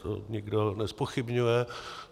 To nikdo nezpochybňuje.